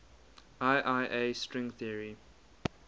iia string theory